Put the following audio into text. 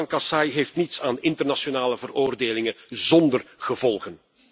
Het volk van Kasaï heeft niets aan internationale veroordelingen zonder gevolgen.